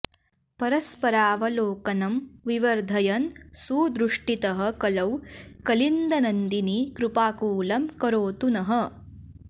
परस्परावलोकनं विवर्धयन् सुदृष्टितः कलौ कलिन्दनन्दिनी कृपाकुलं करोतु नः